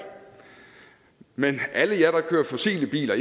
men alle jer der kører fossile biler